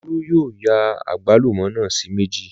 Olú yóò ya àgbálùmọ́ náà sí méjì